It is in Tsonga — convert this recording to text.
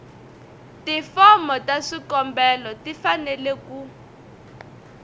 tifomo ta swikombelo tifanele ku